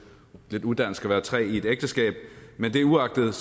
lidt udansk at være tre i et ægteskab men det uagtet